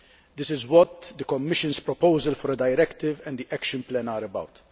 This is what the Commission's proposal for a directive and the action plan are about.